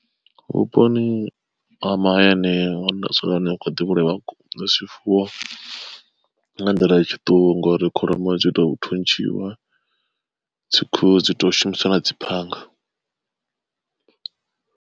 Vhuponi ha mahayani hune nda dzula hone hu khou ḓi vhulaya zwifuwo nga nḓila ya tshiṱuku ngori kholomo dzi tou thuntshiwa, dzi khuhu dzi ṱo shumiswa na dzi phanga.